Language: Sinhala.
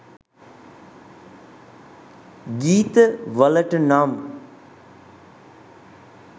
ගීත වලට නම්